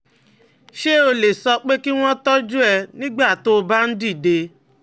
Ṣé o lè sọ pé kí wọ́n tọ́jú ẹ nígbà tó o bá ń dìde?